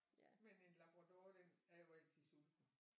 Men en labrador den er jo altid sulten